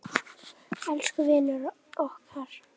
Elsku vinur okkar.